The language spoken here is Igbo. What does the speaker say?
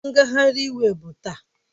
Ngagharị iwu ọ bụ taa?